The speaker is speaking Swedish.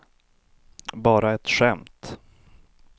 bara ett skämt